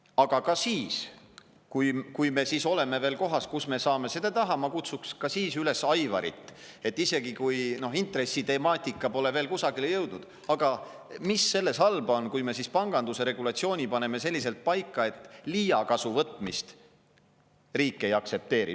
Aga ka siis, kui me siis oleme veel kohas, kus me saame seda teha, ma kutsuks Aivarit ka siis üles, et kui intressitemaatika pole veel kusagile jõudnud, siis mis selles halba on, kui me panganduse regulatsiooni paneme selliselt paika, et riik liigkasuvõtmist ei aktsepteeri.